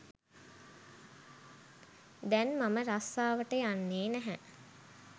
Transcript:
දැන් මම රස්සාවට යන්නෙ නැහැ.